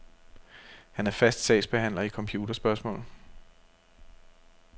Han er fast sagsbehandler i computerspørgsmål.